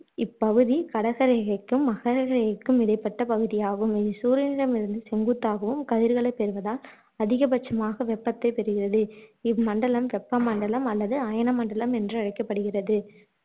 இப்பகுதி கடக ரேகைக்கும் மகர ரேகைக்கும் இடைப்பட்ட பகுதியாகும் இது சூரியனிடமிருந்து செங்குத்தாகவும் கதிர்களைப் பெறுவதால் அதிகபட்சமாக வெப்பத்தைப் பெறுகிறது இம்மண்டலம் வெப்பமண்டலம் அல்லது அயனமண்டலம் என்று அழைக்கப்படுகிறது